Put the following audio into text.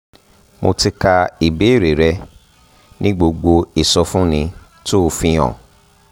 mo ti ka ìbéèrè rẹ ní gbogbo ìsọfúnni tó o fi hàn